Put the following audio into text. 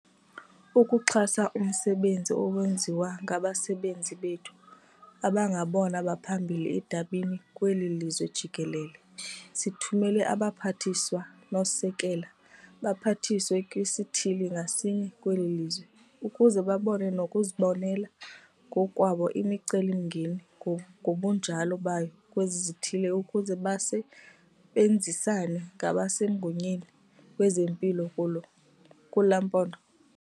Ukuxhasa umsebenzi owenziwa ngabasebenzi bethu abangabona baphambili edabini kweli lizwe jikelele sithumela abaPhathiswa nooSekela baPhathiswa kwisithili ngasinye kweli lizwe ukuze babone nokuzibonela ngokwabo imicelimngeni ngobunjalo bayo kwezi zithili ukuze base benzisane nabasemagunyeni kwezempilo kula maphondo.